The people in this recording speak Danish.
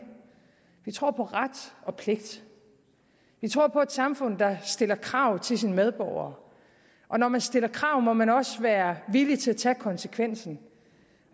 vi tror på ret og pligt vi tror på et samfund der stiller krav til sine medborgere og når man stiller krav må man også være villig til at tage konsekvensen